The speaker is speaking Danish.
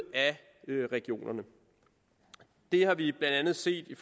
af regionerne det har vi blandt andet set i